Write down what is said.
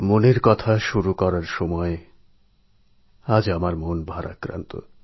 মন কি বাত শুরু করতে গিয়ে আজ আমার মন ভারাক্রান্ত